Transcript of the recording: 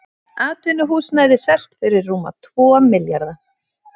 Atvinnuhúsnæði selt fyrir rúma tvo milljarða